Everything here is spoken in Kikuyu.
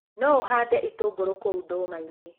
No ũhande itũngũrũ kũu ndũmainĩ.